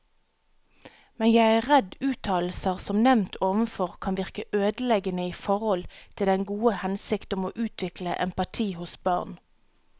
Men jeg er redd uttalelser som nevnt ovenfor kan virke ødeleggende i forhold til den gode hensikt om å utvikle empati hos barn.